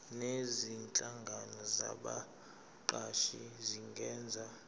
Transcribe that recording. nezinhlangano zabaqashi zingenza